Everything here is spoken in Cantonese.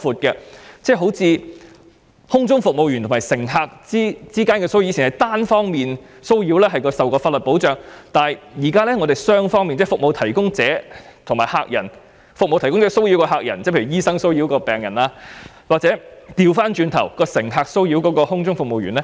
舉例說，空中服務員與乘客之間的騷擾，以往是單方面的騷擾才受法律保障，但現在是雙方面的，例如服務提供者騷擾客人，例如醫生騷擾病人，或者倒過來乘客騷擾空中服務員。